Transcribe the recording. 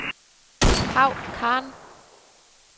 Paw Khan